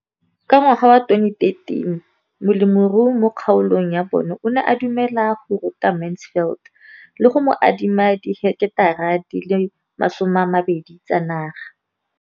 Ka ngwaga wa 2013, molemirui mo kgaolong ya bona o ne a dumela go ruta Mansfield le go mo adima di heketara di le 12 tsa naga.